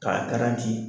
K'a